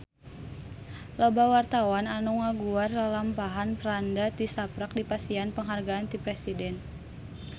Loba wartawan anu ngaguar lalampahan Franda tisaprak dipasihan panghargaan ti Presiden